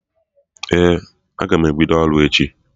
Ee, aga m ebido ọrụ echi